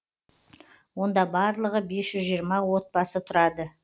онда барлығы бес жүз жиырма отбасы тұрады